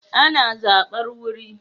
Ana zabar wuri